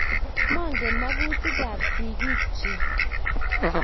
maangen mekutikab sigik cich